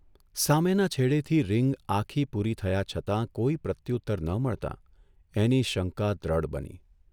સામેના છેડેથી રિંગ આખી પૂરી થયા છતાં કોઇ પ્રત્યુત્તર ન મળતાં એની શંકા દ્રઢ બની.